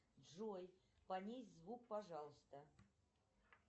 джой понизь звук пожалуйста